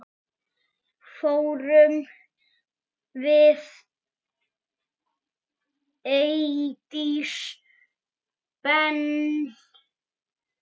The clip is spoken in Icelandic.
Fórum við Eydís Ben.